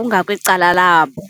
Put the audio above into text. ungakwicala labo.